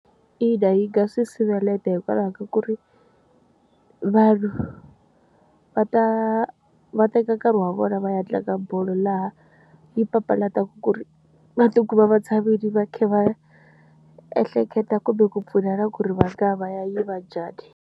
Ina, yi nga swi sivela heta hikwalaho ka ku ri vanhu va ta va teka nkarhi wa vona va ya tlanga bolo laha yi papalateka ku ri va tikuma va tshamile va khe va ehleketa kumbe ku pfunana ku ri va ngaya va ya yiva njhani.